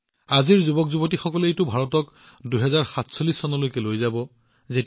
যি কি নহওক আজিৰ যুৱকযুৱতীসকলে আজিৰ ভাৰতক ২০৪৭ চনলৈ লৈ যাব